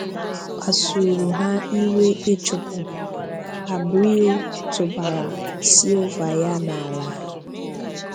Kpàsùrù ha ìwè Ịchụpụ, Abreu tụ̀bàrà Silva-ya n’ala.